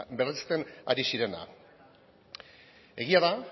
berresten ari zirena egia da